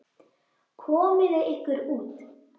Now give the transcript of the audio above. Komiði ykkur út.